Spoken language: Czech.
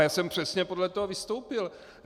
A já jsem přesně podle toho vystoupil.